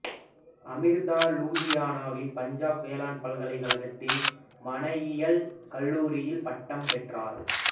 அமிர்தா லூதியானாவின் பஞ்சாப் வேளாண் பல்கலைக்கழகத்தின் மனையியல் கல்லூரியில் பட்டம் பெற்றார்